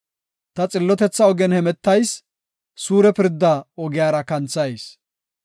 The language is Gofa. Ta xillotetha ogen hemetayis; suure pirda ogiyara kanthayis.